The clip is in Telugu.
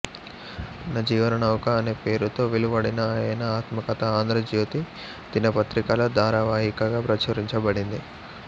నా జీవన నౌక అనేపేరుతో వెలువడిన ఆయన ఆత్మకథ ఆంధ్ర జ్యోతి దినపత్రికలో ధారావాహికగా ప్రచురించబడింది